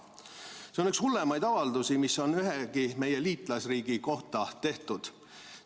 See on üks hullemaid avaldusi, mis on ühegi meie liitlasriigi kohta tehtud.